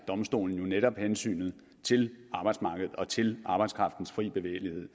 domstolen jo netop balancerer hensynet til arbejdsmarkedet og til arbejdskraftens fri bevægelighed